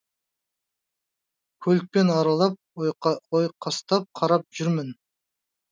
көлікпен аралап ойқастап қарап жүрмін